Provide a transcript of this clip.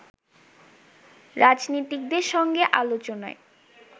রাজনীতিকদের সঙ্গে আলোচনায়